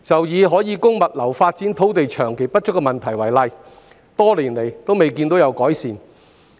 以可供物流發展的土地長期不足一事為例，此問題多年來均未見改善。